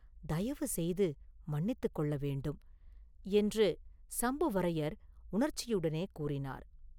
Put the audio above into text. தயவு செய்து மன்னித்துக் கொள்ள வேண்டும்!” என்று சம்புவரையர் உணர்ச்சியுடனே கூறினார்.